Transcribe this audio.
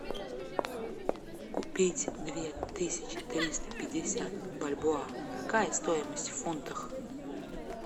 купить две тысячи триста пятьдесят бальбоа какая стоимость в фунтах